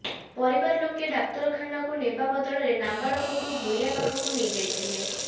ପରିବାର ଲୋକେ ଡାକ୍ତରଖାନାକୁ ନେବା ବଦଳରେ ନାବାଳକକୁ ଗୁଣିଆ ପାଖକୁ ନେଇଯାଇିଥିଲେ